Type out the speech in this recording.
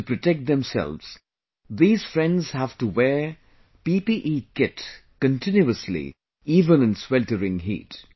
To protect themselves, these friends have to wear PPE Kit continuously even in sweltering heat